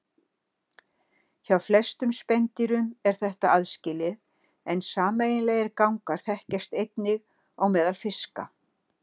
Hjá flestum spendýrum er þetta aðskilið en sameiginlegir gangar þekkjast einnig á meðal fiska.